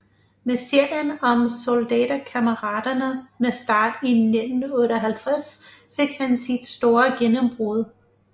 Med serien om Soldaterkammeraterne med start i 1958 fik han sit store gennembrud